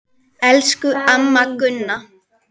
Elsku amma Gunna.